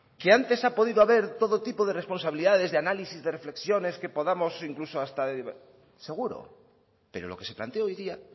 que antes ha podido haber todo tipo de responsabilidades de análisis de reflexiones que podamos o incluso hasta de seguro pero lo que se planteó hoy día